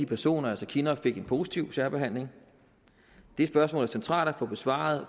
personer altså kinnock fik en positiv særbehandling det spørgsmål er det centralt at få besvaret